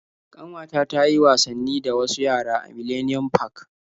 Ƙanwata ta yi wasanni da wasu yara a Millennium park.